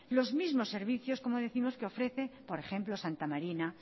los mismo servicios que ofrece por ejemplo santa marina